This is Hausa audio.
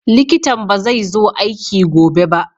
likitan bazai zo aiki gobe ba.